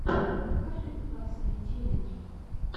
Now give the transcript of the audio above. покажи классные челленджи